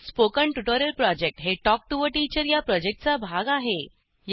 spoken tutorial project हे talk to teacher या प्रॉजेक्टचा भाग आहे